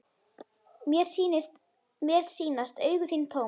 Mér sýnast augu þín tóm.